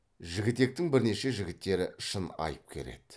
жігітектің бірнеше жігіттері шын айыпкер еді